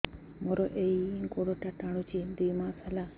ମୋର ଏଇ ଗୋଡ଼ଟା ଟାଣୁଛି ଦୁଇ ମାସ ହେଲା